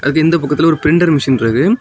அதுக்கு இந்த பக்கத்துல ஒரு பிரிண்டர் மெஷின் இருக்கு.